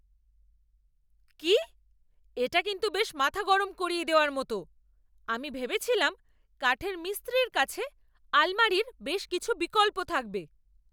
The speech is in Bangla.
কি? এটা কিন্তু বেশ মাথা গরম করিয়ে দেওয়ার মতো! আমি ভেবেছিলাম কাঠের মিস্ত্রির কাছে আলমারির বেশ কিছু বিকল্প থাকবে!